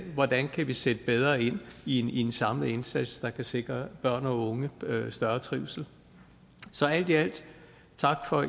hvordan vi kan sætte bedre ind i en samlet indsats der kan sikre børn og unge større trivsel så alt i alt tak for